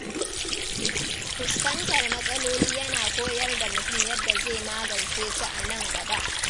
Fuskantar matsaloli yana koyar da mutum yadda zai magance su a nan gaba.